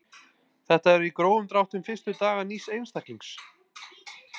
Þetta eru í grófum dráttum fyrstu dagar nýs einstaklings.